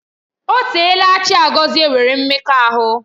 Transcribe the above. O teela Chiagozie nwere mmekọahụ